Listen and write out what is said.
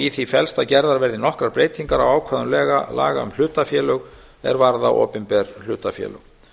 í því felst að gerðar verði nokkrar breytingar á ákvæðum laga um hlutafélög er varða opinber hlutafélög